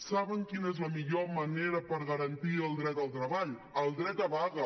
saben quina és la millor manera per garantir el dret al treball el dret a vaga